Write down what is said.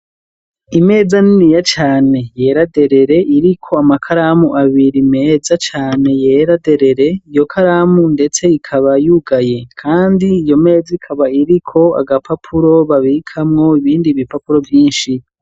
Imeza, niniya cane, yera derere, iriko amakaramu abiri, meza cane, yera derere; iyo karamu ndetse, ikaba yugaye, kandi, iyo meza, ikaba iriko, agapapuro babikamwo, ibindi ibipapuro, vyinshi.